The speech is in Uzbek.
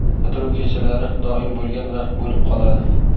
Bitiruv kechalari doim bo‘lgan va bo‘lib qoladi.